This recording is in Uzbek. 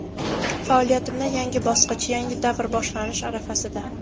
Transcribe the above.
Faoliyatimda yangi bosqich, yangi davr boshlanish arafasida.